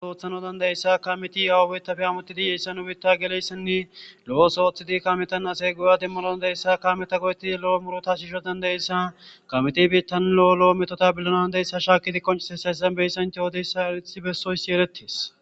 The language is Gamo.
Oothano dandayessa ka meti awubeta fe amutidi yeyssa hu bitta geleyssenni lo7osooththidi kametan asey goya dimmolon deeyssa ka meta go7eti lo7o murota shisho dandayessa kameti biittan lo7o lo7o metota billonan deyssa shaakidi qoncese seyssembeysant yoodeyssa aithi bessoysi erettees.